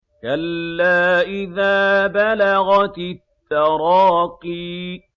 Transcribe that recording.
كَلَّا إِذَا بَلَغَتِ التَّرَاقِيَ